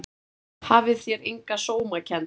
Hafið þér enga sómakennd?